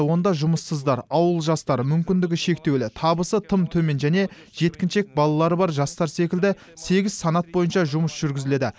онда жұмыссыздар ауыл жастары мүмкіндігі шектеулі табысы тым төмен және жеткіншек балалары бар жастар секілді сегіз санат бойынша жұмыс жүргізіледі